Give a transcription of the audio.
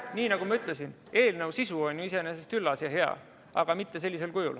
Nii nagu ma ütlesin, eelnõu sisu on ju iseenesest üllas ja hea, aga mitte sellisel kujul.